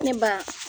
Ne ba